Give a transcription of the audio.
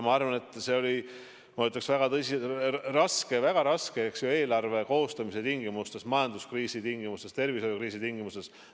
See oli, ma ütleksin, väga raske eelarve koostamisel majanduskriisi tingimustes, tervishoiukriisi tingimustes.